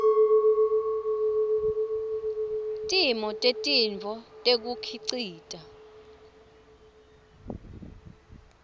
timo tetintfo tekukhicita